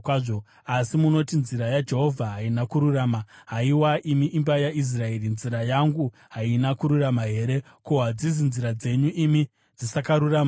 “Asi munoti, ‘Nzira yaJehovha haina kururama.’ Haiwa imi imba yaIsraeri: Nzira yangu haina kururama here? Ko, hadzisi nzira dzenyu imi dzisakarurama here?